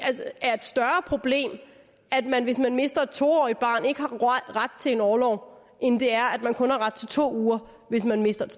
er et større problem at man hvis man mister et to årig t barn ikke har ret til en orlov end det er at man kun har ret til to uger hvis man mister et